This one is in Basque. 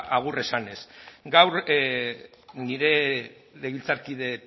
agur esanez gaur nire legebiltzarkide